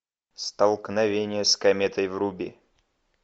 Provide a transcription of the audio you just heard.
столкновение с кометой вруби